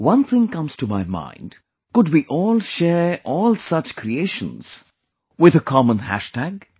One thing comes to my mind... could we all share all such creations with a common hash tag